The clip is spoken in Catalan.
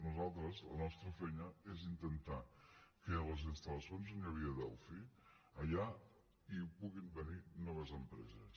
nosaltres la nostra feina és intentar que a les installacions on hi havia delphi allà hi puguin venir noves empreses